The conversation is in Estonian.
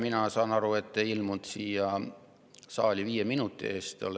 Mina saan aru, et te ei ilmunud siia saali viie minuti eest.